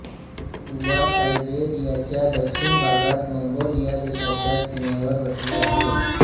तुवा सायबेरियाच्या दक्षिण भागात मंगोलिया देशाच्या सीमेवर वसले आहे